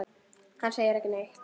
Hann segir ekki neitt.